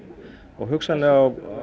og hugsanlega